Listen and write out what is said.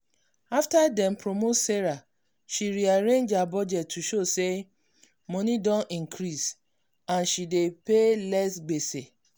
after dem promote sarah she rearrange her budget to show say money don increase and she dey pay less gbese.